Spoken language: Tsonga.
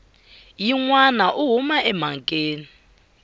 yin wana u huma emhakeni